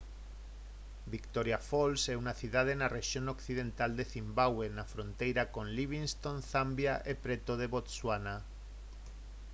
victoria falls é unha cidade na rexión occidental de cimbabue na fronteira con livingstone zambia e preto de botswana